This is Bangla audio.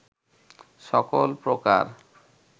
সকল প্রকার